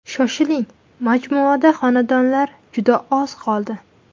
Shoshiling, majmuada xonadonlar juda oz qoldi.